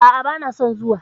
A'a, bana son zuwa.